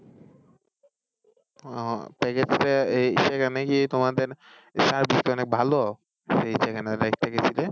উহ সেখানে কি তোমাদের service টা অনেক ভালো? সেই যেখানে গিয়েছিলে